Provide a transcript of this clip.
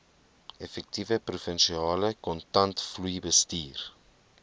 effektiewe provinsiale kontantvloeibestuur